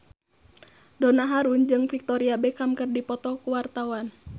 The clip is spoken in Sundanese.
Donna Harun jeung Victoria Beckham keur dipoto ku wartawan